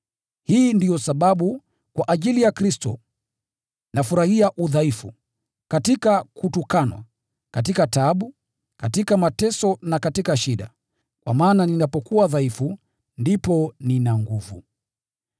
Hii ndiyo sababu, kwa ajili ya Kristo, nafurahia udhaifu, katika kutukanwa, katika taabu, katika mateso na katika shida, kwa maana ninapokuwa dhaifu, ndipo nina nguvu.